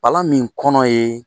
Palan min kɔnɔ ye